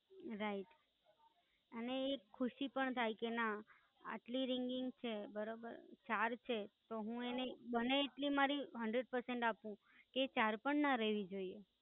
Right અને એક ખુશી પણ થાય કે ના આજે એટલી ringings છે બરાબર ચાર છે હું એને બને એટલી મારી hundred person આપું. એ ચાર પણ ના રેવી જોઈએ.